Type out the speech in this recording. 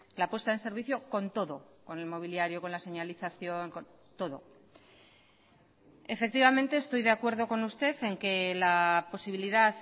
la puesta en servicio con todo con el mobiliario con la señalización con todo efectivamente estoy de acuerdo con usted en que la posibilidad